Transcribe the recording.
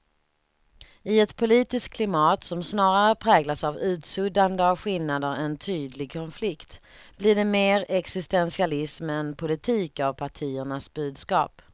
I ett politiskt klimat som snarare präglas av utsuddande av skillnader än tydlig konflikt blir det mer existentialism än politik av partiernas budskap.